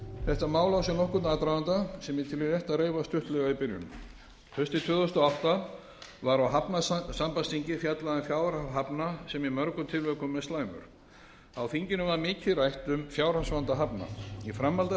þetta mál á sér nokkurn aðdraganda sem ég tel rétt að reifa stuttlega í byrjun haustið tvö þúsund og átta var á hafnasambandsþingi fjallað um fjárhag hafna sem í mörgum tilvikum er slæmur á þinginu var mikið rætt um fjárhagsvanda hafna í framhaldi af